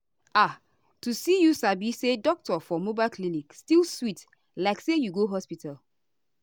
ah to see you sabi say doctor for mobile clinic still sweet like say you go hospital.